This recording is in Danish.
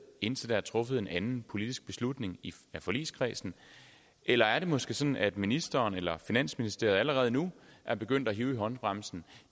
indtil der er truffet en anden politisk beslutning i forligskredsen eller er det måske sådan at ministeren eller finansministeriet allerede nu er begyndt at hive i håndbremsen